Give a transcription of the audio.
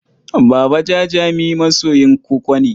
Baba Jajami masoyin koko ne.